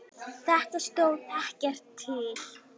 Þetta stóð ekkert til.